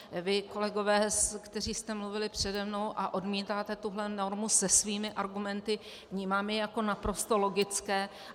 Vy, kolegové, kteří jste mluvili přede mnou a odmítáte tuhle normu se svými argumenty, vnímám je jako naprosto logické.